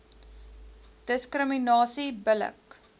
diskriminasie bil lik